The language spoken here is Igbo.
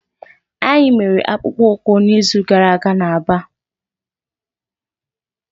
Anyị mere akpụkpọ ụkwụ n'izu gara aga na Aba.